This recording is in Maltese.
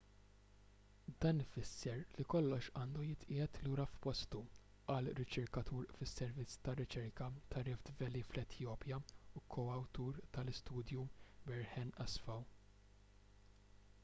dan ifisser li kollox għandu jitqiegħed lura f'postu qal riċerkatur fis-servizz ta' riċerka ta' rift valley fl-etjopja u ko-awtur tal-istudju berhane asfaw